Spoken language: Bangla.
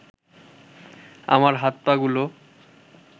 আমার হাত-পাগুলো